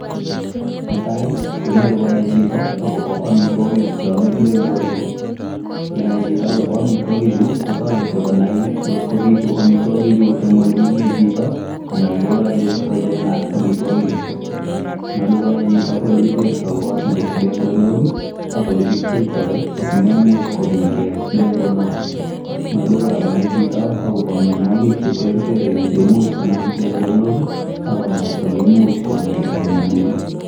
Netai konyolu konai chito akobo amitwogiik cheome pleng'onok. Ye nai chito akobo amitwogiichu kotoretii konai ng'ot kobiitu amitwogichu en ole menye chito anan koyoche kocheng'aat amitwogichu. Nyolu konai chito olekitektoo got Nebo pleng'onok ak olekipcheitoi asimaimich kogingee kipleng'onok. Nyolu konaa chito akobo mionwogiik che terter cheimuch konam pleng'onok ak oleimuch konyaita monarchy.